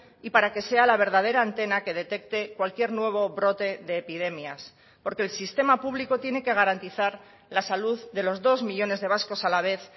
y para que sea la verdadera antena que detecte cualquier nuevo brote de epidemias porque el sistema público tiene que garantizar la salud de los dos millónes de vascos a la vez